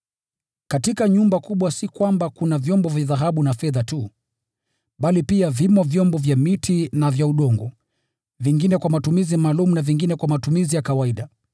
Katika nyumba kubwa si kwamba kuna vyombo vya dhahabu na fedha tu, bali pia vimo vyombo vya miti na vya udongo; vingine kwa matumizi maalum, na vingine kwa matumizi ya kawaida.